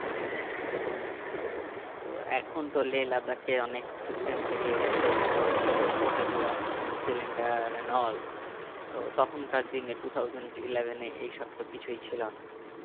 তো এখন তো যে লাদাখে অনেক system বেরিয়ে গেছে যেমন ছোট potted oxygen cylinder and all তো তখন কার দিনে two thousand eleven এ এইসব তো কিছুই ছিলোনা